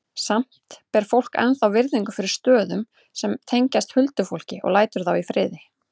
Samt ber fólk ennþá virðingu fyrir stöðum sem tengjast huldufólki og lætur þá í friði.